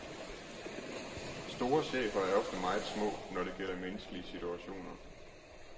Store chefer er ofte meget små, når det gælder menneskelige situationer.